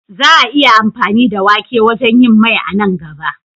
Za a yi amfani da wake wajen yin Mai a nan gaba.